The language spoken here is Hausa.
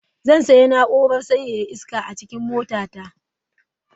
Zan sanya na'urar sanyaya iska a cikin motata.